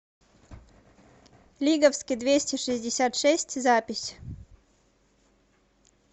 лиговский двести шестьдесят шесть запись